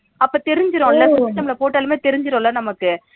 அப்ப தெருஞ்சிரும்ல system ல போட்டாளே தெருஞ்சிரும்ல நமக்கு